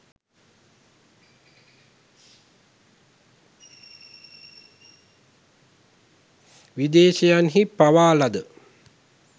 විදේශයන්හි පවා ලද